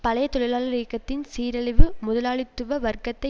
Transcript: பழைய தொழிலாள இயக்கத்தின் சீரழிவு முதலாளித்துவ வர்க்கத்தை